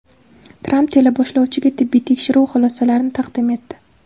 Tramp teleboshlovchiga tibbiy tekshiruvi xulosalarini taqdim etdi.